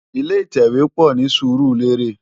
Ilé itèwé pò ni Surulere